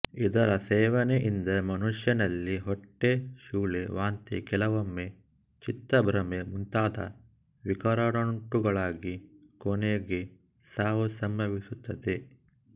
ಇದರ ಸೇವನೆಯಿಂದ ಮನುಷ್ಯನಲ್ಲಿ ಹೊಟ್ಟೆ ಶೂಲೆ ವಾಂತಿ ಕೆಲವೊಮ್ಮೆ ಚಿತ್ತಭ್ರಮೆ ಮುಂತಾದ ವಿಕಾರಗಳುಂಟಾಗಿ ಕೊನೆಗೆ ಸಾವು ಸಂಭವಿಸುತ್ತದೆ